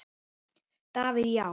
Davíð Já.